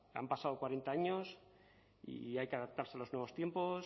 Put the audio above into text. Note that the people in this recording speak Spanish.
han pasado cuarenta años y hay que adaptarse a los nuevos tiempos